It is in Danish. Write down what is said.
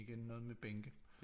Igen noget med bænke